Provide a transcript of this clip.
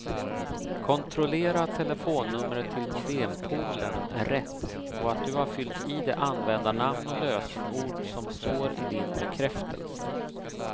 Kontrollera att telefonnumret till modempoolen är rätt och att du har fyllt i det användarnamn och lösenord som står i din bekräftelse.